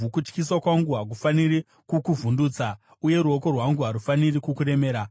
Kutyisa kwangu hakufaniri kukuvhundutsa, uye ruoko rwangu harufaniri kukuremera.